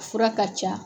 Fura ka ca